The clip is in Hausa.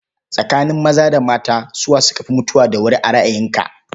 Tsakanin maza da mata, su wa suka fi mutuwa da wuri a ra'ayinka?